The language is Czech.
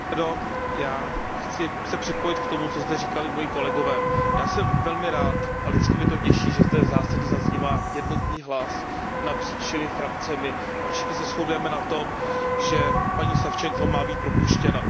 Pane předsedající, já se chci připojit k tomu, co zde říkali moji kolegové. Já jsem velmi rád a vždycky mě to těší, že zde v zásadě zaznívá jednotný hlas napříč všemi frakcemi a všichni se shodujeme na tom, že paní Savčenková má být propuštěna.